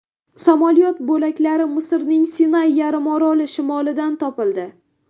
Samolyot bo‘laklari Misrning Sinay yarimoroli shimolidan topildi.